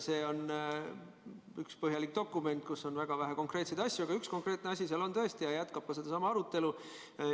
See on üks põhjalik dokument, kus on väga vähe konkreetseid asju, aga üks konkreetne asi seal on tõesti ja ma jätkan sedasama arutelu.